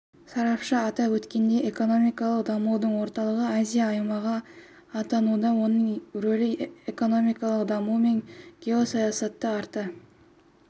сарапшы атап өткендей экономикалық дамудың орталығы азия аймағы атануда оның рөлі экономикалық даму мен гоесаясатта арта